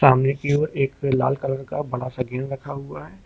कमरे की ओर एक लाल कलर का बड़ा सा गेंद रखा हुआ है।